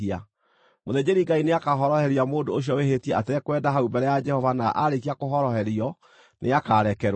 Mũthĩnjĩri-Ngai nĩakahoroheria mũndũ ũcio wĩhĩtie atekwenda hau mbere ya Jehova na aarĩkia kũhoroherio, nĩakarekerwo.